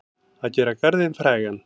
Að gera garðinn frægan